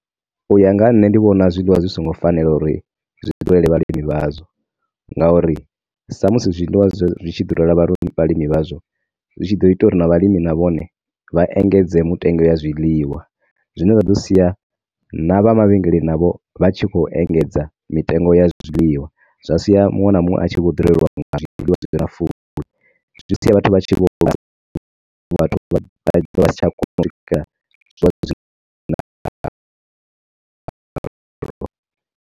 U ya nga nṋe ndi vhona zwiḽiwa zwi songo fanela uri zwi ḓurele vhalimi vhazwo nga uri sa musi zwiḽiwa zwi tshi ḓurela vhalimi vhazwo, zwi tshi ḓo ita uri na vhalimi navhone vha engedze mutengo wa zwiḽiwa, zwine zwa ḓo sia na vhamavhengeleni navho vha tshi khou engedza mitengo ya zwiḽiwa